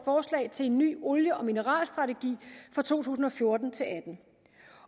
forslag til en ny olie og mineralstrategi for to tusind og fjorten til atten